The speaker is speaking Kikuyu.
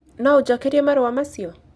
No ũnjokerie marũa macio?